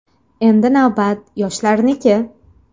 Endi navbat yoshlarniki”.